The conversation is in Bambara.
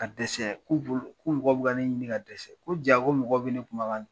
Ka dɛsɛ k'u bolo ko mɔgɔw bi ka ne ɲini ka dɛsɛ. Ko ja ko mɔgɔw bi ne kumakan